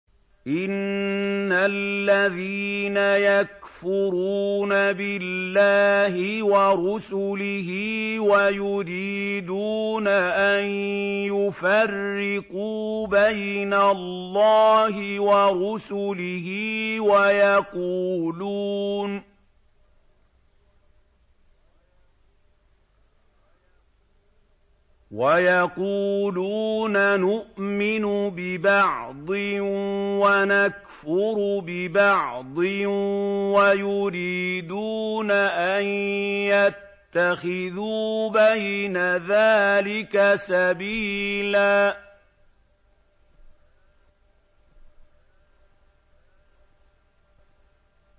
إِنَّ الَّذِينَ يَكْفُرُونَ بِاللَّهِ وَرُسُلِهِ وَيُرِيدُونَ أَن يُفَرِّقُوا بَيْنَ اللَّهِ وَرُسُلِهِ وَيَقُولُونَ نُؤْمِنُ بِبَعْضٍ وَنَكْفُرُ بِبَعْضٍ وَيُرِيدُونَ أَن يَتَّخِذُوا بَيْنَ ذَٰلِكَ سَبِيلًا